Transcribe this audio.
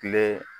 Kile